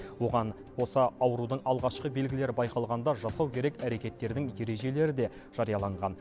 оған қоса аурудың алғашқы белгілері байқалғанда жасау керек әрекеттердің ережелері де жарияланған